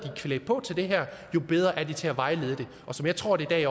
er klædt på til det her jo bedre er de til at vejlede jeg tror at der i